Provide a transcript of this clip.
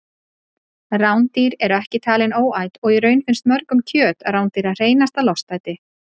Rándýr eru ekki talin óæt og í raun finnst mörgum kjöt rándýra hreinasta lostæti.